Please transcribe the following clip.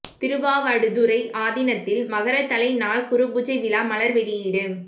திருவாவடுதுறை ஆதீனத்தில் மகரத்தலை நாள் குருபூஜை விழா மலா் வெளியீடு